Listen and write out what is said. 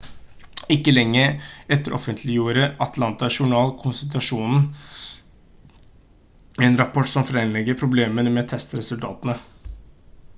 ikke lenge etter offentliggjorde atlanta journal-konstitusjonen en rapport som fremlegger problemene med testresultatene